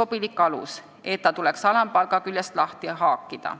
sobilik alus, et see tuleks alampalga küljest lahti haakida.